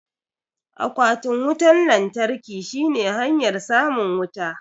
Akwatin wutan lantarkin shine hanyar samun wuta